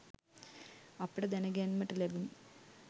අපට දැන ගැන්මට ලැබුනි